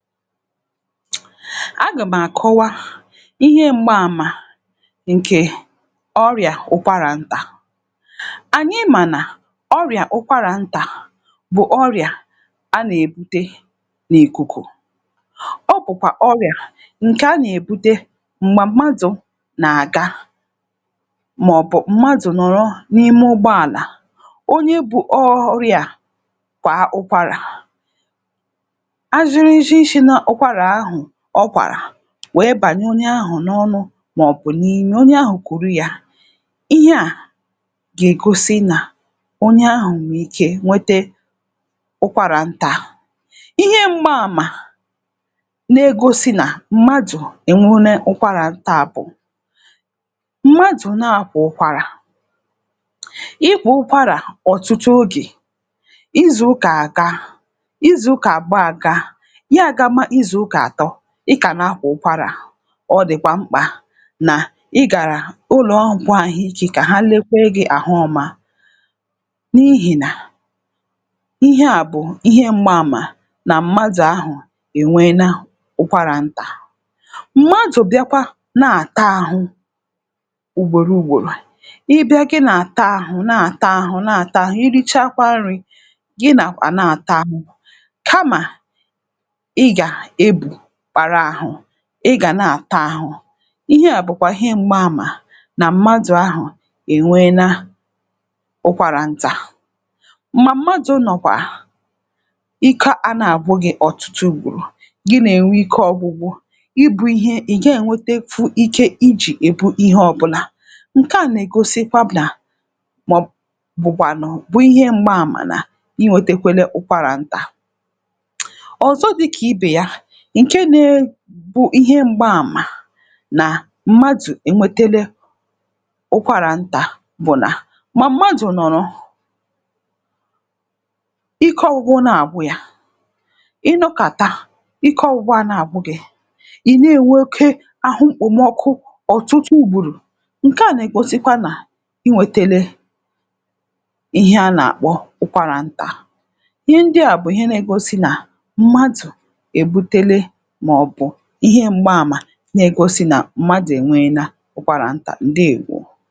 A gàmàkọwa ihe m̀gba àmà ǹkè ọrịà ụkwarà ntà. Ányị mànà ọrịà ụkwarà ntà bụ̀ ọrịà a nà-èbute n’ìkùkù. Ọ bụ̀kwà ọrịà ǹkè a nà-èbute m̀gbà mmadụ̀ nà-àga màọ̀bụ̀ mmadụ̀ nọ̀rọ n’ime ụgbọàlà onye bụ̀ ọrịà a kwàà ụkwarà, ajiriji shi na ụkwarà ahụ̀ ọ kwàrà wèe bànyè onye ahụ̀ n’ọnụ màọ̀bụ̀ n’ime onye ahụ̀ kùrù ya ihe à gà-ègosi nà onye ahụ̀ nwèrè ike nwete ụkwàrà ntà. Ihe mgbaàmà na-egosi nà mmadụ̀ ènweene ụkwarà ntà bụ̀; mmadụ̀ na-àkwà ụkwàrà ị kwàa ụkwarà ọ̀tụtụ ogè izùukà à gaa izùukà àbụọ à gaa ya a gama n'izùuka atọ ị kà na-akwa ụkwarà a, ọ dị̀kwà mkpà nà ịgàrà ụlọọgwụ àhụike ka ha lekwaa gị̇ àhụ ọma n’ihì nà ihe a bụ̀ ihe m̀gba àmà nà mmadụ̀ ahụ̀ ènweena ụkwarà ntà. Mmadụ̀ bịakwa nà-àta ahụ̀ ugbòro ugbòrò ị bịa gị nà-àta ahụ̀ nà-àta ahụ̀ nà-àta ahụ̀ irichakwaa nri̇ gị nà kwa nà-àta ahụ̀ kamà ị gà ebù kpata ahụ ị ga na-àta ahụ, ihe à bụ̀kwà ihe m̀gba àmà nà mmadụ ahụ̀ ènweena ụkwàrà ntà. Mgbà mmadụ nọ̀kwà ike anà-àgwụ gị̇ ọ̀tụtụ ugboro, gị nà-ènwe ike ọgwụgwụ ị bú ihe ị̀ ga'ènwetefu ike ijì ebu ihe ọbụnà ǹkè a nà-ègosikwa nà màọbụ̀kwànụ̀ bụ̀ ihe m̀gba àmà nà iwètekwere ụkwàrà ntà. Ọzọ dịka ibe ya ǹke na-ebu ihe m̀gbaàmà nà mmadụ̀ ènwetele ụkwàrà ntà bụ̀ nà mà mmadụ̀ nọ̀rọ̀ ike ọgwụgwọ nà-àgwụ ya, ị nọkàta ike ọgwụgwọ a nà-àgwụ gị ị̀ na-ènwe oke ahụ mkpòmọkụ ọ̀tụtụ ùgboro ǹke à nà-ègosikwa nà inwetele ihe a nà-àkpọ ụkwarà ntà. Ihe ndị à bụ̀ ihe nà-egosi nà mmadụ̀ ebutele ihe m̀gbaàmà na-egosi nà mmadụ̀ ènweena ụkwàrà ntà, ǹdeewo.